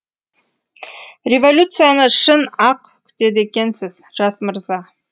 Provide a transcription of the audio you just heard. революцияны шын ақ күтеді екенсіз жас мырза